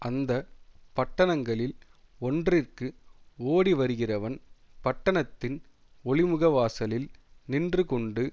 அந்த பட்டணங்களில் ஒன்றிற்கு ஓடிவருகிறவன் பட்டணத்தின் ஒலிமுகவாசலில் நின்றுகொண்டு